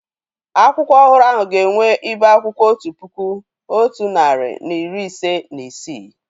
Akwụkwọ ọhụrụ ahụ ga-enwe ibe akwụkwọ otu puku, otu narị na iri ise na isii